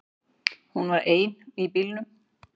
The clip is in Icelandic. Hún var ein í bílnum.